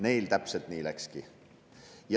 Neil täpselt nii läkski.